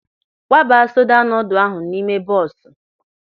Kwaba soda noodle ahụ n'ime bọọsụ!